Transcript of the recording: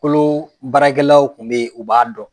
Kolo baarakɛlaw kun be ye u b'a dɔn